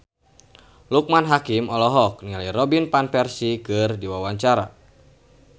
Loekman Hakim olohok ningali Robin Van Persie keur diwawancara